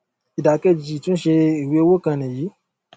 ìdà kejì ìtúnṣe ìwé owó kan nìyí